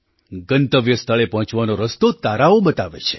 ગંતવ્ય સ્થળે પહોંચવાનો રસ્તો તારાઓ બતાવે છે